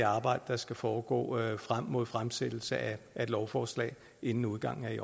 arbejde der skal foregå frem mod fremsættelsen af et lovforslag inden udgangen af i